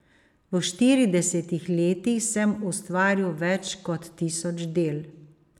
V štiridesetih letih sem ustvaril več kot tisoč del.